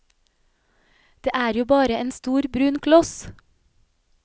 Det er jo bare en stor, brun kloss.